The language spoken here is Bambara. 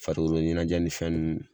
Farikolo ɲɛnɛjɛ ni fɛn nnnu